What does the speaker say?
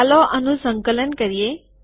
ચાલો આનું સંકલન કરીએ